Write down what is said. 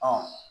Ɔ